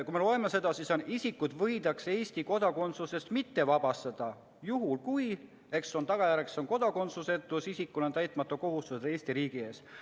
Kui me loeme seda, siis: "Isikut võidakse Eesti kodakondsusest mitte vabastada, kui: 1) tagajärjeks on kodakondsusetus; 2) isikul on täitmata kohustused Eesti riigi ees.